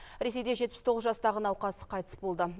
ресейде жетпіс тоғыз жастағы науқас қайтыс болды